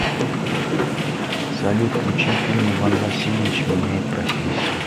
салют включи фильм иван васильевич меняет профессию